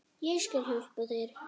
Ég skal hjálpa þér.